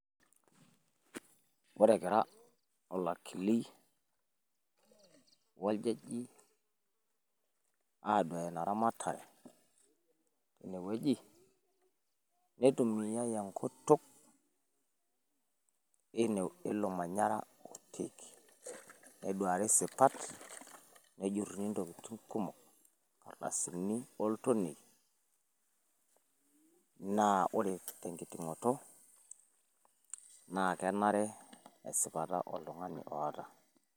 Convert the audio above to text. ore egira olakili oljaji aduuya ina ramatare teine wueji nitumiyae enkutuk eilo manyara. neduuari sipat, nejuruni ntokitin kumok. inkardasini oltonie. amu ore tenkitingoto naa kenare esipata oltungani oota.